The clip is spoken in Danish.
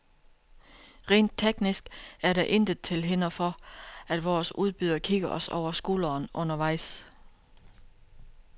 Rent teknisk er der intet til hinder for, at vores udbyder kigger os over skulderen undervejs.